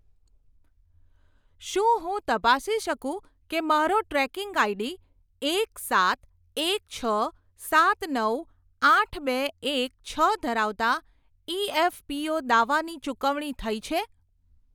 શું હું તપાસી શકું કે મારો ટ્રેકિંગ આઈડી એક સાત એક છ સાત નવ આઠ બે એક છ ધરાવતા ઇએફપીઓ દાવાની ચૂકવણી થઇ છે?